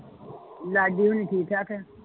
ਲਾਡੀ ਹੋਣੀ ਠੀਕ ਠਾਕ ਆ?